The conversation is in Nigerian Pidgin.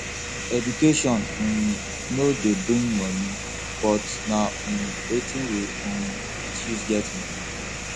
education um no de bring money but na um wetin we um fit use get money